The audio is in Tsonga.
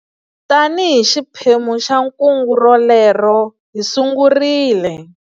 Tanihi xiphemu xa kungu rolero, hi sungurile.